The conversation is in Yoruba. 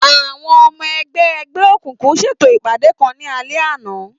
Àwọn ọmọ ẹgbẹ́ ẹgbẹ́ òkùnkùn ṣètò ìpàdé kan ní alẹ́ àná.